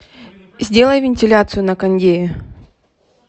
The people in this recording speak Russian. сделай вентиляцию на кондее